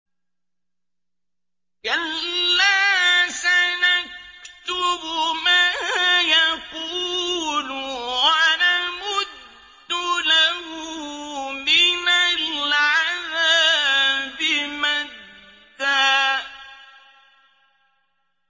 كَلَّا ۚ سَنَكْتُبُ مَا يَقُولُ وَنَمُدُّ لَهُ مِنَ الْعَذَابِ مَدًّا